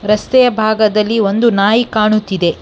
ರಸ್ತೆಯ ಭಾಗದಲ್ಲಿ ಒಂದು ನಾಯಿ ಕಾಣುತ್ತಿದೆ.